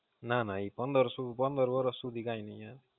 ના ના, એ પંદરશુ પંદર વરસ સુધી કઈ નઈ આવે.